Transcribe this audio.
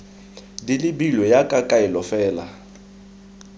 di lebilwe jaaka kaelo fela